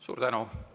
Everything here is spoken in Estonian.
Suur tänu!